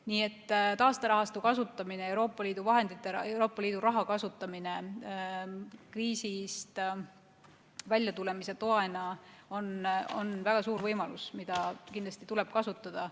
Nii et taasterahastu kasutamine, Euroopa Liidu raha kasutamine kriisist väljatulemise toena on väga suur võimalus, mida kindlasti tuleb kasutada.